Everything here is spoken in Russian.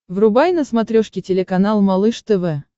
врубай на смотрешке телеканал малыш тв